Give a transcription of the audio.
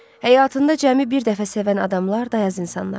Həyatında cəmi bir dəfə sevən adamlar dayaz insanlardır.